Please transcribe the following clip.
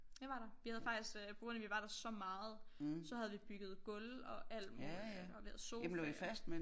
Det var der vi havde faktisk øh på grund af vi var der så meget så havde vi bygget gulv og alt muligt og vi havde sofaer